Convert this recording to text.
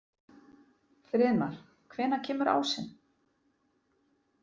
Friðmar, hvenær kemur ásinn?